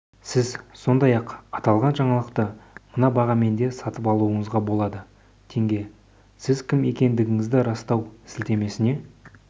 сіз сондай-ақ аталған жаңалықты мына бағамен де сатып алуыңызға болады теңге сіз кім екендігіңізді растау сілтемесіне